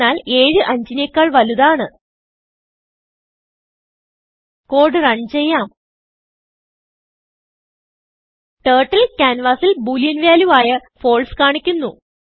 എന്തെന്നാൽ 75 നെക്കാൾ വലുതാണ് കോഡ് റൺ ചെയ്യാം ടർട്ടിൽ ക്യാൻവാസിൽ ബോളിയൻ വാല്യൂ ആയfalse കാണിക്കുന്നു